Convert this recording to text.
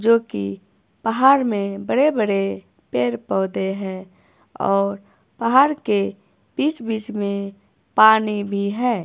जोकि पहाड़ में बड़े बड़े पेड़ पौधे हैं और पहाड़ के बीच बीच में पानी भी है।